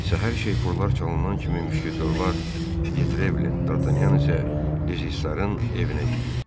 Səhər şeypurlar çalınan kimi müşketiyorlar Di Trevlin, Dartanyan isə Dizisarın evinə yüyürdü.